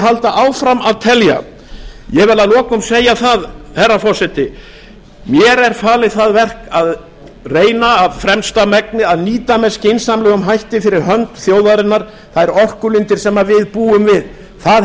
halda áfram að telja ég vil að lokum segja það herra forseti mér er falið það verk að reyna af fremsta megni að nýta með skynsamlegum hætti fyrir hönd þjóðarinnar þær orkulindir sem við búum við það hef